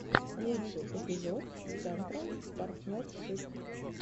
лучший эпизод централ партнершип